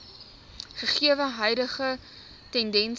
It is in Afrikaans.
gegewe huidige tendense